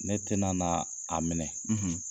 Ne tɛna na a minɛ